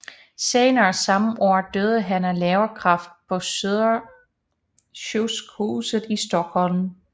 Senere samme år døde han af leverkræft på Södersjukhuset i Stockholm